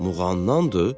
Muğamdanndır?